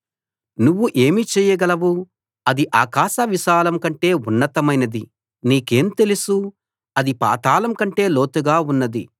నువ్వు ఏమి చేయగలవు అది ఆకాశ విశాలం కంటే ఉన్నతమైనది నీకేం తెలుసు అది పాతాళంకంటే లోతుగా ఉన్నది